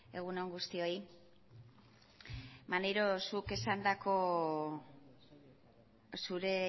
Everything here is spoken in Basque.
egun on guztioi maneiro zuk esandako zure